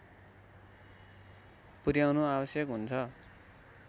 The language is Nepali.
पुर्‍याउनु आवश्यक हुन्छ